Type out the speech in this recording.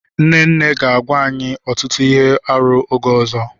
Nne nne ga-agwa anyị ọtụtụ ihe arụ oge ọzọ.